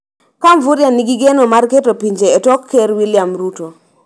ka Mvurya nigi geno mar keto pinje e tok Ker William Ruto.